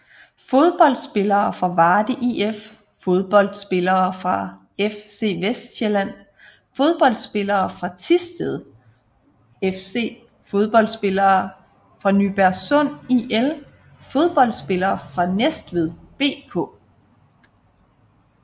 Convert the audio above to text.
Fodboldspillere fra Varde IF Fodboldspillere fra FC Vestsjælland Fodboldspillere fra Thisted FC Fodboldspillere fra Nybergsund IL Fodboldspillere fra Næstved BK